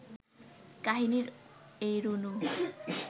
কাহিনির এই রুনু